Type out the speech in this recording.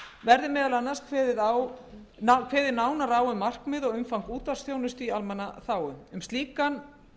verði meðal annars kveðið nánar á um markmið og umfang útvarpsþjónustu í almannaþágu um slíkan